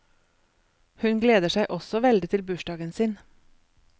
Hun gleder seg også veldig til bursdagen sin.